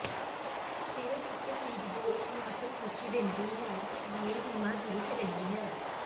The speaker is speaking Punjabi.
ਸਿਰਫ ਇਕ ਚੀਜ਼ ਜੋ ਉਸਨੂੰ ਅਸਲ ਖੁਸ਼ੀ ਦਿੰਦੀ ਹੈ ਅਸ਼ਲੀਲ ਫ਼ਿਲਮਾਂ ਦੇਖ ਰਹੀ ਹੈ